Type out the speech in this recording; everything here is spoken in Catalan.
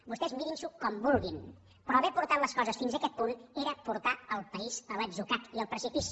vostès mirin s’ho com vulguin però haver portat les coses fins a aquest punt era portar el país a l’atzucac i al precipici